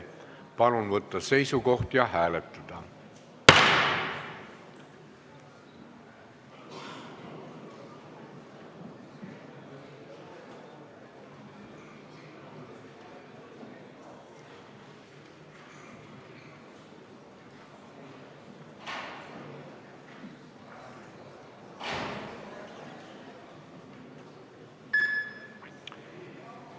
Palun võtta seisukoht ja hääletada!